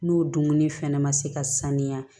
N'o dumuni fɛnɛ ma se ka sanuya